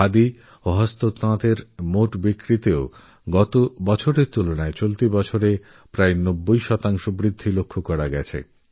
খাদি আর হ্যান্ডিক্র্যাফটের মোটবিক্রিতেও গত বছরের তুলনায় এই বছরে প্রায় নব্বই শতাংশ বৃদ্ধি দেখা গিয়েছে